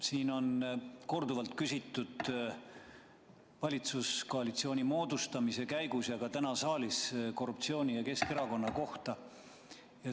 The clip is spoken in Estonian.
Siin on korduvalt küsitud valitsuskoalitsiooni moodustamise käigus ja ka täna saalis korruptsiooni ja Keskerakonna kohta.